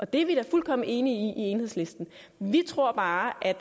det er vi da fuldkommen enige i i enhedslisten vi tror bare at